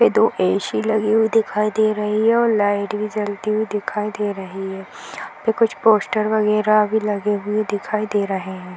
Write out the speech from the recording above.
ये दो ए.सी. लगी हुई दिखाई दे रही है और लाइट भी जलती हुई दिखाई दे रही है. यहाँ पे कुछ पोस्टर वगेरा भी लगे हुए दिखाई दे रहे है।